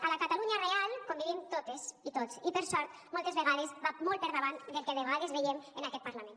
a la catalunya real convivim totes i tots i per sort moltes vegades va molt per davant del que de vegades veiem en aquest parlament